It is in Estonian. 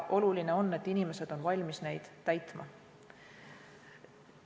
Oluline on, et inimesed on valmis neid täitma.